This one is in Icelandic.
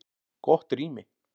Gott rými